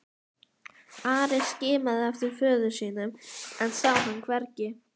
Ari skimaði eftir föður sínum en sá hann hvergi.